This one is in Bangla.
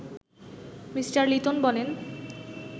মি: লিটন বলেন